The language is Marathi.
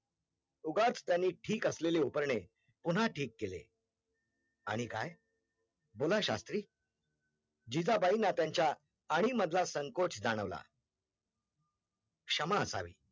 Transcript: उगाच त्यांनी ठीक असलेल उपरने पुन्हा ठीक केले आणि काय बोला शास्त्री जिजाबाईना त्यांचा खाणी मधला संकोच जाणवलं क्षमा असावी